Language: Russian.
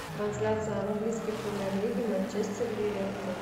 трансляция английской премьер лиги манчестер ливерпуль